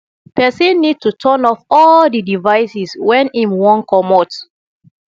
person need to turn off all di devices when im wan comot